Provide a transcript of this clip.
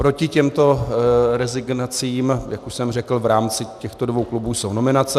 Proti těmto rezignacím, jak už jsem řekl, v rámci těchto dvou klubů jsou nominace.